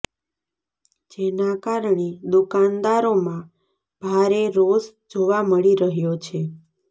જેના કારણે દુકાનદારોમાં ભારે રોષ જોવા મળી રહ્યો છે